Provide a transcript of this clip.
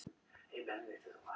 Vill út.